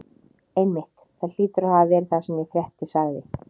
Einmitt, það hlýtur að hafa verið það sem ég frétti sagði